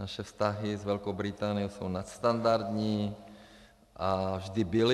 Naše vztahy s Velkou Británií jsou nadstandardní a vždy byly.